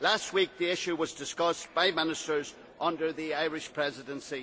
Last week the issue was discussed by Ministers under the Irish Presidency.